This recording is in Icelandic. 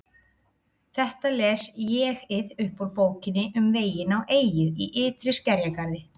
Þetta les ÉG-ið upp úr Bókinni um veginn á eyju í ytri skerjagarði